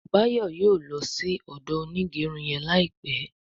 Bayo yóò ló sì odo Onigerun yén láìpé.